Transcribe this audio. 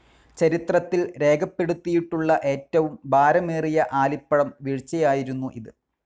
ചരിത്രത്തിൽ രേഖപ്പെടുത്തിയിട്ടുള്ള ഏറ്റവും ഭാരമേറിയ ആലിപ്പഴം വീഴ്ചയായിരുന്നു ഇത്.